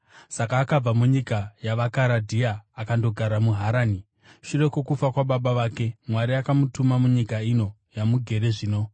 “Saka akabva munyika yavaKaradhea akandogara muHarani. Shure kwokufa kwababa vake, Mwari akamutuma munyika ino yamugere zvino.